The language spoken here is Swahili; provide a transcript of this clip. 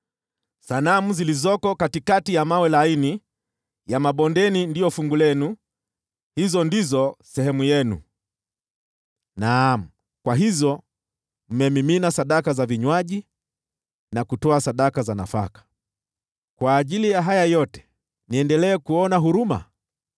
“Sanamu zilizo katikati ya mawe laini ya mabondeni ndizo fungu lenu; hizo ndizo sehemu yenu. Naam, kwa hizo mmemimina sadaka za vinywaji, na kutoa sadaka za nafaka. Katika haya yote, niendelee kuona huruma?